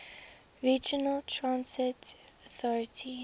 regional transit authority